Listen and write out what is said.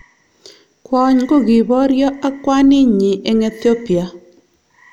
Kwony kokiboryo ak kwaninyi eng Ethiopia.